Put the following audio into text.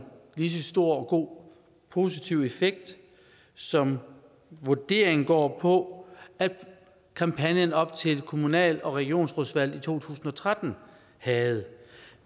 lige så stor og god og positiv effekt som vurderingen går på at kampagnen op til kommunal og regionsrådsvalget i to tusind og tretten havde